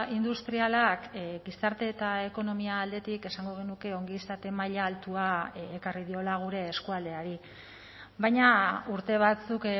industrialak gizarte eta ekonomia aldetik esango genuke ongizate maila altua ekarri diola gure eskualdeari baina urte batzuk